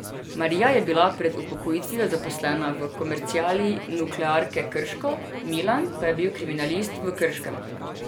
Marija je bila pred upokojitvijo zaposlena v komerciali Nuklearke Krško, Milan pa je bil kriminalist v Krškem.